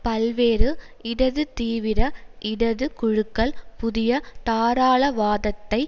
பல்வேறு இடது தீவிர இடது குழுக்கள் புதிய தாராளவாதத்தை